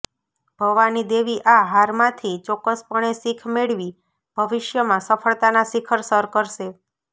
ભવાની દેવી આ હારમાંથી ચોક્કસપણે શીખ મેળવી ભવિષ્યમાં સફળતાના શિખર સર કરશે